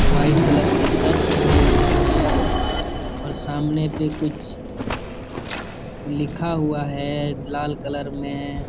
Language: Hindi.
वो वाइट कलर के शर्ट पहने हुए है और सामने पे कुछ लिखा हुआ है लाल कलर में--